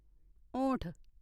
होंठ